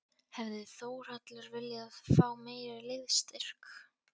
Hefði Þórhallur viljað fá meiri liðsstyrk?